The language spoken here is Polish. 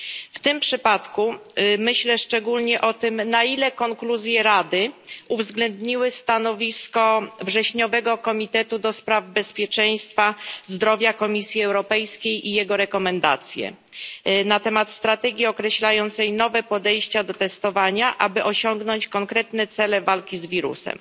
W tym przypadku myślę szczególnie o tym, na ile w konkluzjach Rady uwzględniono stanowisko wrześniowego Komitetu do spraw bezpieczeństwa zdrowia Komisji Europejskiej i jego rekomendacje na temat strategii określającej nowe podejście do testowania, aby osiągnąć konkretne cele walki z wirusem.